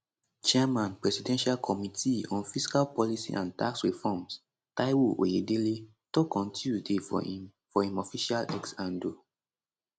chairman presidential committee on fiscal policy and tax reforms taiwo oyedele tok on tuesday for im for im official x handle